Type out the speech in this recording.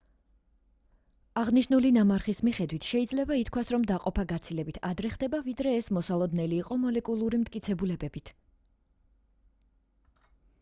აღნიშნული ნამარხის მიხედვით შეიძლება ითქვას რომ დაყოფა გაცილებით ადრე ხდება ვიდრე ეს მოსალოდნელი იყო მოლეკულური მტკიცებულებებით